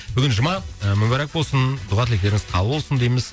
бүгін жұма мүбәрәк болсын дұға тілектеріңіз қабыл болсын дейміз